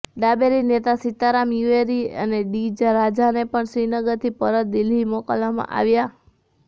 ડાબેરી નેતા સીતારામ યેચુરી અને ડી રાજાને પણ શ્રીનગરથી પરત દિલ્હી મોકલવામાં આવ્યા